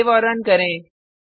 save और run करें